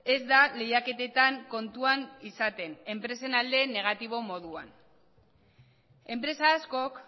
ez da lehiaketetan kontuan izaten enpresen aldeen negatibo moduan enpresa askok